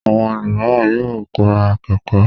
Àwọn ẹlòmíràn yóò ra kẹ̀kẹ́.